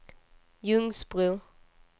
Ljungsbro